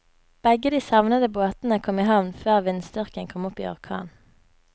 Begge de savnede båtene kom i havn før vindstyrken kom opp i orkan.